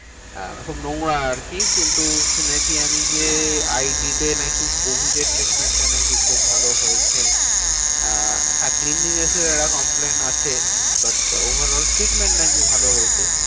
আহ খুব নোংরা আরকি। কিন্তু শুনেছি আমি যে, আই ডি তে নাকি covid এর treatment টা নাকি খুব ভালো হয়েছে। আহ হ্যাঁ cleanliness এর একটা complain আছে। but over all treatment নাকি ভালো হয়েছে।